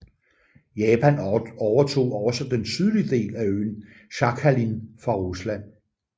Japan overtog også den sydlige del af øen Sakhalin fra Rusland